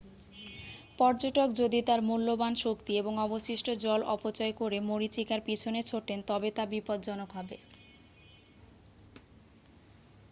পর্যটক যদি তার মূল্যবান শক্তি এবং অবশিষ্ট জল অপচয় করে মরীচিকার পিছনে ছোটেন তবে তা বিপজ্জনক হবে